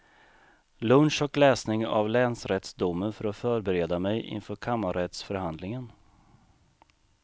Lunch och läsning av länsrättsdomen för att förbereda mig inför kammarrättsförhandlingen.